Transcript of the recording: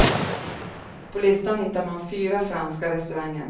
På listan hittar man fyra franska restauranger.